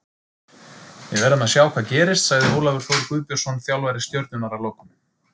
Við verðum að sjá hvað gerist, sagði Ólafur Þór Guðbjörnsson þjálfari Stjörnunnar að lokum.